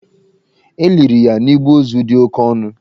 E liri ya n'igbe ozu dị oke ọnụ.